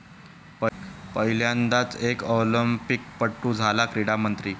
पहिल्यांदाच एक ऑलिंपिकपटू झाला क्रीडा मंत्री